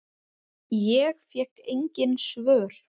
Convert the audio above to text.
Ég fékk engin svör.